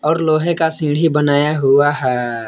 और लोहे का सीढ़ी बनाया हुआ है।